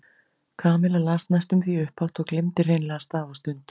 Kamilla las næstum því upphátt og gleymdi hreinlega stað og stund.